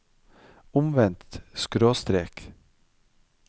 omvendt skråstrek